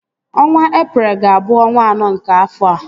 Ọnwa Eprel ga abụ ọnwa anọ nke afọa